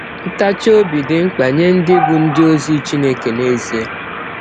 Ntachi ọbi dị mkpa nye ndị bụ́ ndị ọzi Chineke n’ezie.